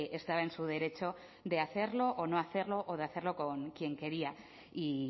estaba en su derecho de hacerlo o no hacerlo o de hacerlo con quién quería y